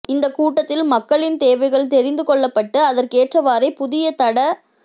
இந்தக் கூட்டத்தில் மக்களின் தேவைகள் தெரிந்து கொள்ளப்பட்டு அதற்கேற்றவாறே புதிய தட